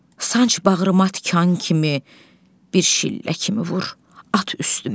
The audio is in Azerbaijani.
Sanc bağrıma tikan kimi, bir şillə kimi vur, at üstümə.